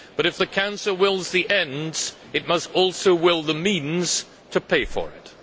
But if the Council wills the ends, it must also will the means to pay for them.